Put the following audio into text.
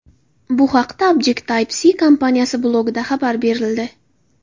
Bu haqda Objectibe-See kompaniyasi blogida xabar berildi .